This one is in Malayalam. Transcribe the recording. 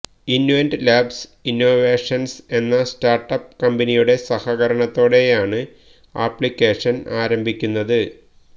ഇന്വെന്റ ലാബ്സ് ഇന്നോവേഷന്സ് എന്ന സ്റ്റാര്ട്ടപ്പ് കമ്ബനിയുടെ സഹകരണത്തോടെയാണ് ആപ്ലിക്കേഷന് ആരംഭിക്കുന്നത്